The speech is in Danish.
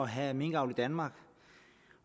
have minkavl i danmark